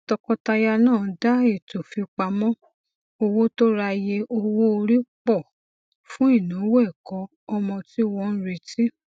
tọkọtaya náà dá ètò fipamọ owó tó ráyè owóori pọ fún ináwó ẹkọ ọmọ tí wọn ń retí